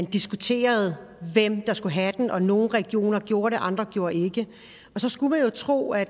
diskuterede hvem der skulle have den og nogle regioner gjorde det andre gjorde ikke så skulle man jo tro at